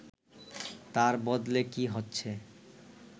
তার বদলে কী হচ্ছে